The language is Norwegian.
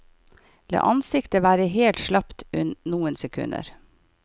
La ansiktet være helt slapt noen sekunder.